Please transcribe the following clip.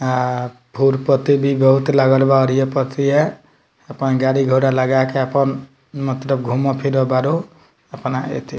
आ फूल-पत्ती भी बहुत लागल बा और ये पर अथी है अपन गाड़ी-घोड़ा लगा के अपन मतलब घूमो फिरे बाड़ू अपना एथी --